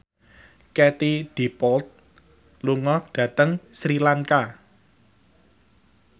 Katie Dippold lunga dhateng Sri Lanka